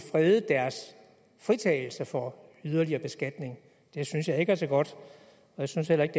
fredet deres fritagelse for yderligere beskatning det synes jeg ikke er så godt jeg synes heller ikke